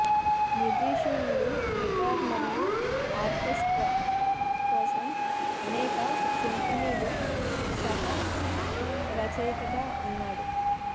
మ్యుజీషియన్లు guitar మరియు orchestra కోసం అనేక సింఫనీలు సహ రచయితగా ఉన్నాడు